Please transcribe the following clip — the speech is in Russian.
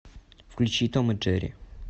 включи том и джерри